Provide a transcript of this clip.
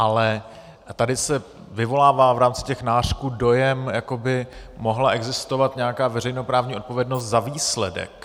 Ale tady se vyvolává v rámci těch nářků dojem, jakoby mohla existovat nějaká veřejnoprávní odpovědnost za výsledek.